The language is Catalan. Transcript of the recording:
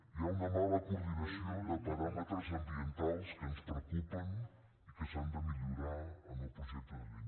hi ha una mala coordinació de paràmetres ambientals que ens preocupen i que s’han de millorar en el projecte de llei